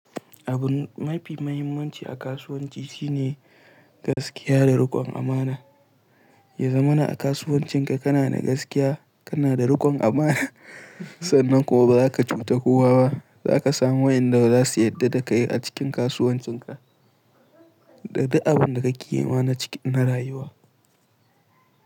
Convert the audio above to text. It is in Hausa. Abun mafi mahimmanci a kasuwanci shine gaskiya da rikon amana. Ya zamana a kasuwancinka kana da gaskiya, kana da rikon amana, sannan kuma ba za ka cuta kowa ba, za ka samu wayanda za su yarda da kai a cikin kasuwancinka. Da duk abin da kake yi ma na rayuwa.